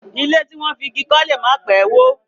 Ilé tí wọ́n fi igi kọ́ lè má pẹ́ wó.